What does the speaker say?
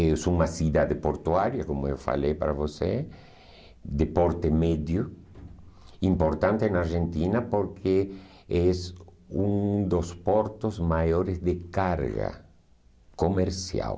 É uma cidade portuária, como eu falei para você, de porte médio, importante na Argentina porque é um dos portos maiores de carga comercial.